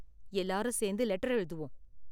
எல்லாரும் சேர்ந்து லெட்டர் எழுதுவோம்